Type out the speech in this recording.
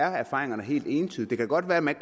at erfaringerne helt entydige det kan godt være at man